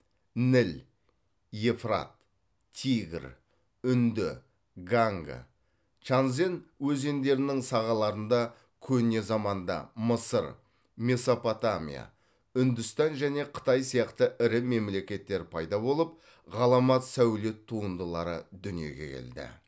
ніл евфрат тигр үнді ганга чанзен өзендерінің сағаларында көне заманда мысыр месопотамия үндістан және қытай сияқты ірі мемлекеттер пайда болып ғаламат сәулет туындылары дүниеге келді